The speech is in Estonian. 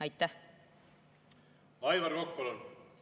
Aivar Kokk, palun!